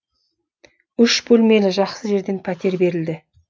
үш бөлмелі жақсы жерден пәтер берілді